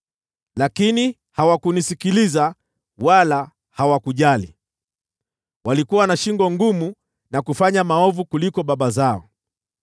Lakini hawakunisikiliza wala hawakujali. Walikuwa na shingo ngumu na kufanya maovu kuliko baba zao.’